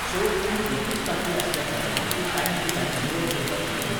So, ती एकूच टांकी आसल्या कारणान ती टायम टू टायम निवळ करपाक मेळना.